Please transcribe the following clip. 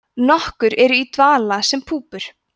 nokkur eru í dvala sem púpur